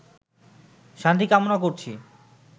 শান্তি কামনা করছি